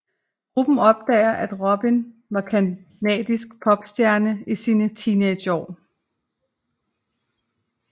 Gruppen opdager at Robin var canadisk popstjerne i sine teenageår